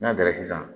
N'a dara sisan